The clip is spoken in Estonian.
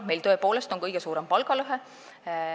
Meil on tõepoolest kõige suurem palgalõhe.